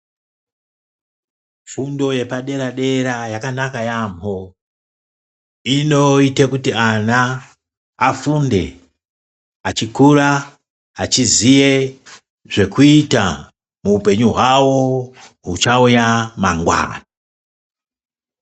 Fundo yepadera-dera yakanaka yaambho. Inoita kuti ana afunde achikura achiziye zvekuita muupenyu hwavo huchauya mangwana.